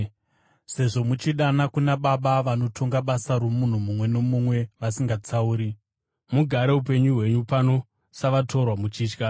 Sezvo muchidana kuna Baba vanotonga basa romunhu mumwe nomumwe vasingatsauri, mugare upenyu hwenyu pano savatorwa muchitya.